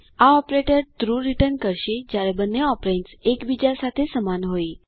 આ operator true return કરે છે જયારે બંને ઓપેરેન્દ્સ એક બીજા સાથે સમાન હોય